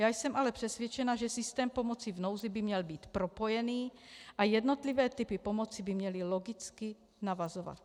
Já jsem ale přesvědčena, že systém pomoci v nouzi by měl být propojený a jednotlivé typy pomoci by měly logicky navazovat.